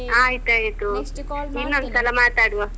ಆಯ್ತಾಯ್ತು. ಇನ್ನೊಂದ್ಸಲ ಮಾತಡ್ವ ಹ್ಮ್.